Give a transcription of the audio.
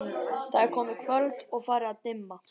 Það er komið kvöld og farið að dimma.